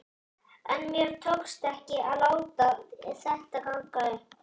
En mér tókst ekki að láta þetta ganga upp.